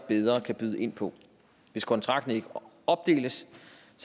bedre kan byde ind på hvis kontrakten ikke opdeles